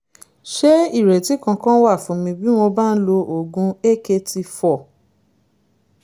ṣé ìrètí kankan wà fún mi bí mo bá ń lo oògùn akt four?